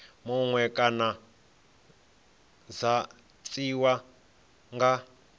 muṅwe kana dza tiwa nga